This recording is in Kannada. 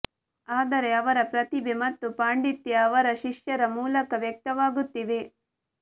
ಆದರೆ ಅವರ ಪ್ರತಿಭೆ ಮತ್ತು ಪಾಂಡಿತ್ಯ ಅವರ ಶಿಷ್ಯರ ಮೂಲಕ ವ್ಯಕ್ತವಾಗುತ್ತಿವೆ